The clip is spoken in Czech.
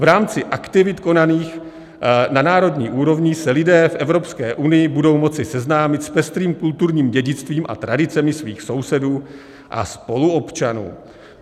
V rámci aktivit konaných na národní úrovni se lidé v Evropské unii budou moci seznámit s pestrým kulturním dědictvím a tradicemi svých sousedů a spoluobčanů.